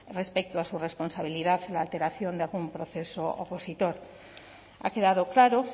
respecto a su responsabilidad en la alteración del proceso opositor ha quedado claro